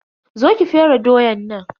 Zo ki fere doyan nan.